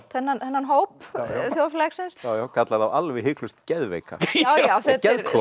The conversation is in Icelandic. þennan þennan hóp þjóðfélagsins kallar þá alveg hiklaust geðveika og geðklofa